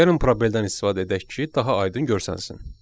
Gəlin proqramdan istifadə edək ki, daha aydın görünsün.